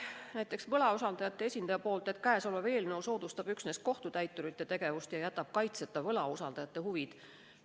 Näiteks võlausaldajate esindaja väitis, et see eelnõu soodustab üksnes kohtutäiturite tegevust ja jätab kaitseta võlausaldajate huvid.